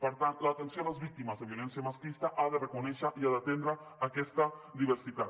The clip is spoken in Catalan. per tant l’atenció a les víctimes de violència masclista ha de reconèixer i ha d’atendre aquesta diversitat